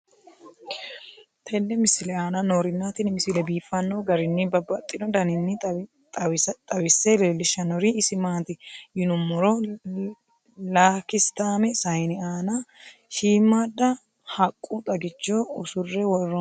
tenne misile aana noorina tini misile biiffanno garinni babaxxinno daniinni xawisse leelishanori isi maati yinummoro lakisitaame sayiine aanna shiimmada haqqu xaggichcho usure woroonni